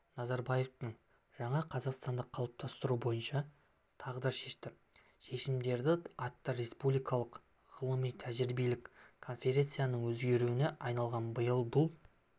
назарбаевтың жаңа қазақстанды қалыптастыру бойынша тағдыршешті шешімдері атты республикалық ғылыми-тәжірибелік конференцияның өзегіне айналған биыл бұл